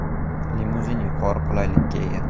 Limuzin yuqori qulaylikka ega.